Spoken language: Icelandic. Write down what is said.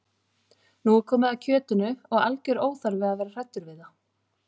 Nú er komið að kjötinu og algjör óþarfi að vera hræddur við það.